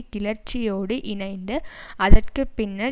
கிளர்ச்சியோடு இணைந்து அதற்கு பின்னர்